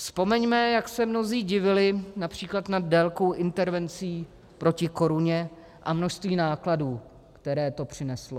Vzpomeňme, jak se mnozí divili například nad délkou intervencí proti koruně, a množství nákladů, které to přineslo.